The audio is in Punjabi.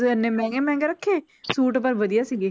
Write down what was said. ਇੰਨੇ ਮਹਿੰਗੇ ਮਹਿੰਗੇ ਰੱਖੇ ਸੂਟ ਪਰ ਵਧੀਆ ਸੀਗੇ